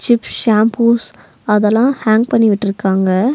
Sick shampoos அதெல்லா hang பண்ணி விட்ருக்காங்க.